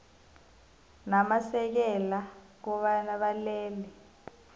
namasekela kobana balele